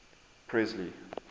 presley